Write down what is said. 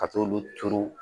Ka t'olu turu